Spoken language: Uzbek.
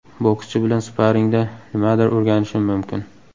Bokschi bilan sparingda nimadir o‘rganishim mumkin.